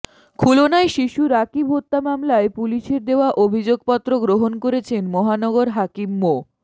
খুলনায় শিশু রাকিব হত্যা মামলায় পুলিশের দেওয়া অভিযোগপত্র গ্রহণ করেছেন মহানগর হাকিম মো